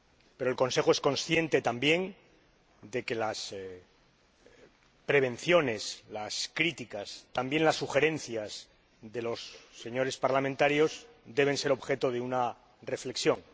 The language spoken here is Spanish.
Pero el Consejo es consciente también de que las prevenciones, las críticas —también las sugerencias—, de los señores parlamentarios deben ser objeto de una reflexión.